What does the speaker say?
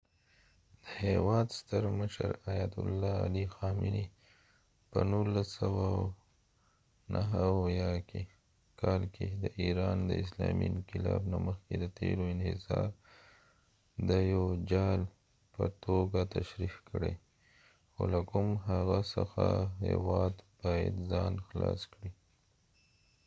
د هیواد ستر مشر، آیت الله علي خامنی په ۱۹۷۹ کال کې د ایران د اسلامي انقلاب نه مخکې د تیلو انحصار د یو جال په توګه تشریح کړی او له کوم هغه څخه هیواد باید ځان خلاص کړي